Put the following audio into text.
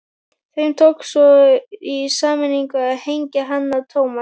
Þeim tókst svo í sameiningu að hengja hann á Thomas.